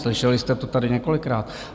Slyšeli jste to tady několikrát.